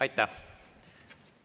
Aitäh!